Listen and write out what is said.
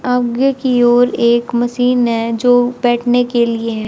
आगे की ओर एक मशीन है जो बैठने के लिए है।